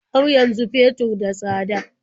Har yanzu fetur da tsada?